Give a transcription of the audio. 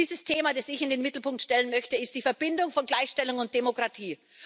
Dieses Thema, das ich in den Mittelpunkt stellen möchte, ist die Verbindung von Gleichstellung und Demokratie.